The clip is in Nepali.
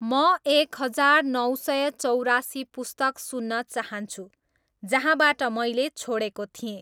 म एक हजार नौ सय चौरासी पुस्तक सुन्न चाहन्छु जहाँबाट मैले छोडेको थिएँ